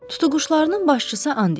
Tutuquşlarının başçısı and içir.